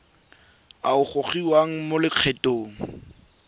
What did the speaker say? a a gogiwang mo lokgethong